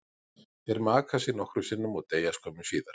Þeir maka sig nokkrum sinnum og deyja skömmu síðar.